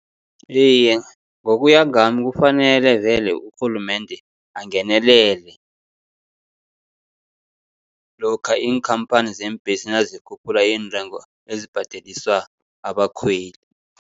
Iye, ngokuya ngami kufanele vele urhulumende angenelele, lokha iinkhamphani zeembhesi nazikhuphula iintengo ezibhadeliswa abakhweli.